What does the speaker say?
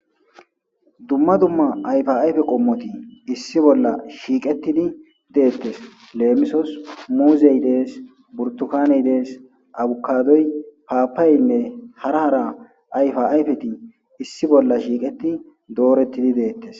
Dumma dumma ayfa ayfe qomot issi bolla shiqetid detes. Lemisos muzey Des, burtukaney Des, abokadoy papayeyinne hara hara ayfa ayfet issi bolla shiqet dooret detes.